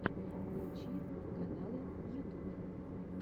включи каналы ютуб